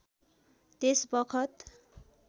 त्यस बखत